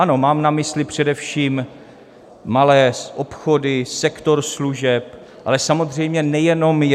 Ano, mám na mysli především malé obchody, sektor služeb, ale samozřejmě nejenom je.